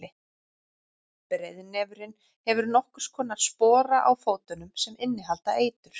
breiðnefurinn hefur nokkurs konar spora á fótunum sem innihalda eitur